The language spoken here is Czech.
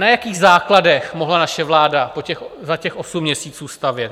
Na jakých základech mohla naše vláda za těch osm měsíců stavět?